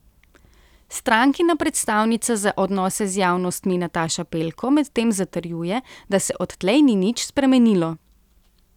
Strankina predstavnica za odnose z javnostmi Nataša Pelko medtem zatrjuje, da se odtlej ni nič spremenilo.